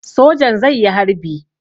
Sojan zai yi harbi.